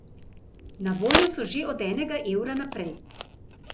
Na voljo so že od enega evra naprej.